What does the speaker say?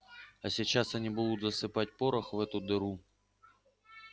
а сейчас они будут засыпать порох в эту дыру